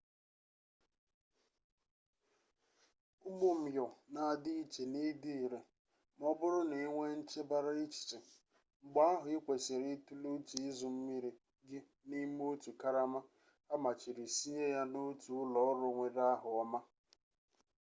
ụmụ myọ na-adị iche n'ịdị ire ma ọ bụrụ na ị nwee nchebara echiche mgbe ahụ ị kwesịrị itule uche ịzụ mmiri gị n'ime otu karama amachiri siye na otu ụlọ ọrụ nwere aha ọma